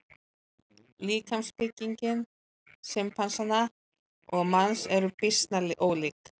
Líkamsbygging simpansa og manns er býsna ólík.